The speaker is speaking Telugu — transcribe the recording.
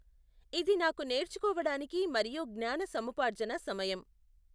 ఇది నాకు నేర్చుకోవడానికి మరియు జ్ఞాన సముపార్జన సమయం.